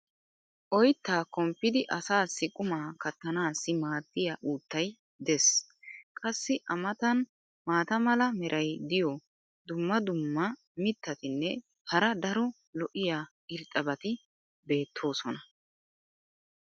oyttaa komppidi asaassi qumaa katanaassi maadiya uuttay des. qassi a matan maata mala meray diyo dumma dumma mitatinne hara daro lo'iya irxxabati beetoosona.